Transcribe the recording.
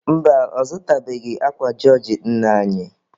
Mba, ọ zụtabeghị akwa jọọjị nne anyị.